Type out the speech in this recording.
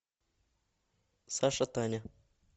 саша таня